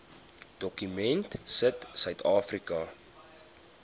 dokument sit suidafrika